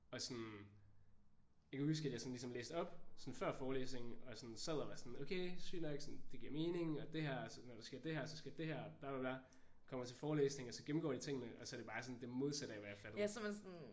Og sådan jeg kan huske at jeg sådan ligesom læste op sådan før forelæsningen og var sådan sad og var sådan okay sygt nok sådan det giver mening og det her er når der sker det her og så sker det der bla bla bla. Kommer til forelæsning og gennemgår tingene og så er det bare sådan det modsatte af hvad jeg fattede